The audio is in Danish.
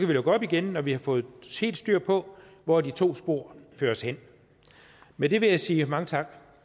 vi lukke op igen når vi har fået helt styr på hvor de to spor fører os hen med det vil jeg sige mange tak